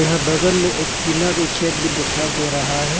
यहां बगल में एक टीना के शेड भी दिखाई दे रहा है।